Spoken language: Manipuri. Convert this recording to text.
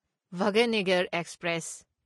ꯚꯥꯒ꯭ꯌꯅꯒꯔ ꯑꯦꯛꯁꯄ꯭ꯔꯦꯁ